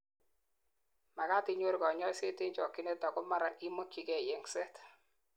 magat inyoru kanyoiset en chokyinet ako Mara imokyigei yengset